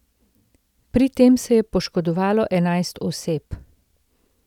Pri tem se je poškodovalo enajst oseb.